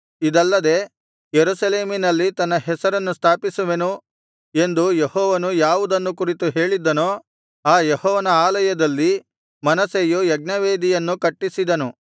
ಇದಲ್ಲದೆ ಯೆರೂಸಲೇಮಿನಲ್ಲಿ ನನ್ನ ಹೆಸರನ್ನು ಸ್ಥಾಪಿಸುವೆನು ಎಂದು ಯೆಹೋವನು ಯಾವುದನ್ನು ಕುರಿತು ಹೇಳಿದ್ದನೋ ಆ ಯೆಹೋವನ ಆಲಯದಲ್ಲಿ ಮನಸ್ಸೆಯು ಯಜ್ಞವೇದಿಗಳನ್ನು ಕಟ್ಟಿಸಿದನು